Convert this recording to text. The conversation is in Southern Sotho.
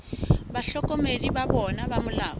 bahlokomedi ba bona ba molao